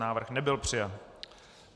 Návrh nebyl přijat.